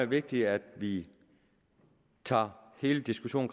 vigtigt at vi tager hele diskussionen